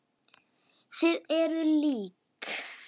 Þið eruð lík.